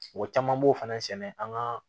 O caman b'o fana sɛnɛ an ka